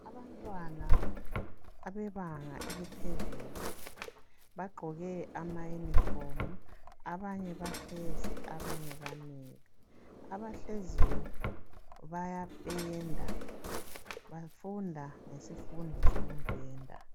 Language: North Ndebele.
Abantwana abebanga eliphezulu bagqoke ama yunifomu abanye bahlezi abanye bamile. Abahleziyo baya penda bafunda ngesifundo soku penda.